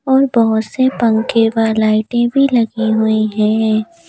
और बहुत से पंखे व लाइटें भी लगी हुई हैं।